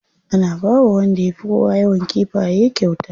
Ana bawa wanda ya fi kowa yawan kifaye kyauta.